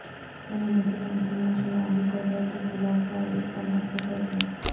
سلامتی کونسل میں شمالی کوریا کے خلاف فوری اقدامات کا فیصلہ